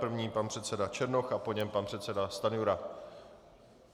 První pan předseda Černoch a po něm pan předseda Stanjura.